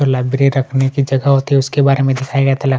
जो लाइब्रेरी रखने की जगह होती है उसके बारे में दिखाया गया था ला --